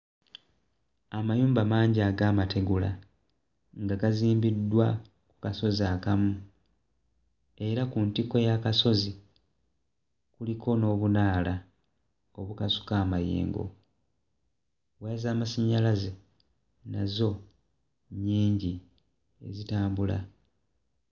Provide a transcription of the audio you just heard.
Amayumba mangi ag'amategula nga gazimbiddwa ku kasozi akamu era ku ntikko y'akasozi, kuliko n'obunaala obukasuka amayengo. Waya az'amasannyalaze nazo nnyingi zitambula.